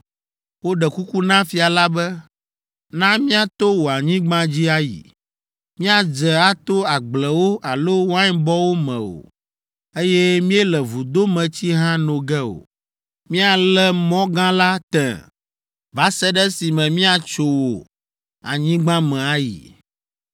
Woɖe kuku na fia la be, “Na míato wò anyigba dzi ayi. Míadze ato agblewo alo wainbɔwo me o, eye míele vudometsi hã no ge o. Míale mɔ gã la tẽ va se ɖe esime míatso wò anyigba me ayi.”